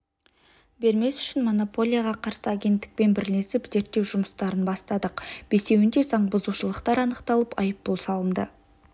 бермес үшін монополияға қарсы агенттікпен бірлесіп зерттеу жұмыстарын бастадық бесеуінде заң бұзушылықтар анықталып айыппұл салынды